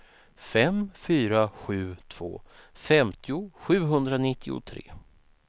fem fyra sju två femtio sjuhundranittiotre